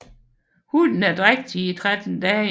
Hunnen er drægtig i 13 dage